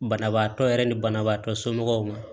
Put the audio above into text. Banabaatɔ yɛrɛ ni banabaatɔ somɔgɔw ma